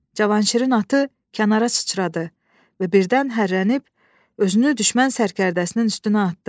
Cavanşirin atı kənara çıçradı və birdən hərrənib özünü düşmən sərkərdəsinin üstünə atdı.